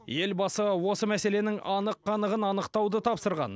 елбасы осы мәселенің анық қанығын анықтауды тапсырған